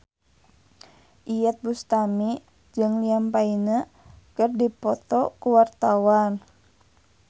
Iyeth Bustami jeung Liam Payne keur dipoto ku wartawan